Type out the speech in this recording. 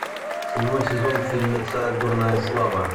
седьмой сезон фильмеца дурная слава